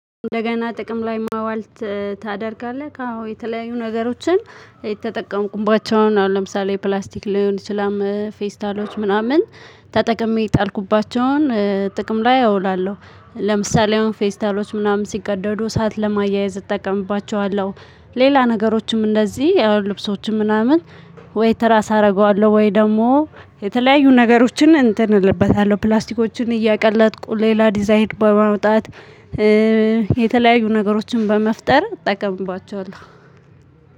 እንደገና ጥቅም ላይ ማዋልት ታደርጋለህ? አዎ የተለያዩ ነገሮችን የተጠቀምኩባቸውን አሁን ለምሳሌ ፕላስቲክ ሊሆን ይችላል ፌስታሎች ምናምን ተጠቅሜ የጣልኩባቸውን ጥቅም ላይ አውላለሁ። ለምሳሌ አሁን ፌስታሎች ምናምን ሲቀደዱ ሰዓት ለማያያዝ እጠቀምባቸዋለሁ። ሌላ ነገሮችም እንደዚህ የልብሶችም ምናምን ወይ ተራስ አደርገዋለሁ ወይ ደግሞ የተለያዩ ነገሮችን እንትን እልበታለሁ ፕላስቲኮችን እያቀለጥኩ ሌላ ዲዛይን በማውጣት የተለያዩ ነገሮችን በመፍጠር እጠቀምባቸዋለሁ።